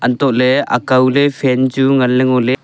antole akaw ley fan chu ngan le ngoley.